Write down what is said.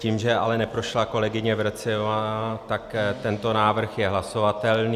Tím, že ale neprošla kolegyně Vrecionová, tak tento návrh je hlasovatelný.